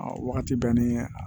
A wagati bɛɛ ni a